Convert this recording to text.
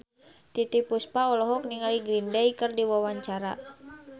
Titiek Puspa olohok ningali Green Day keur diwawancara